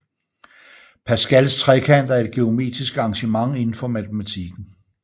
Pascals trekant er et geometrisk arrangement indenfor matematikken